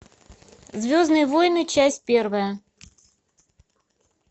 звездные войны часть первая